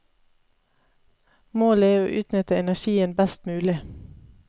Målet er å utnytte energien best mulig.